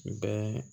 Bɛɛ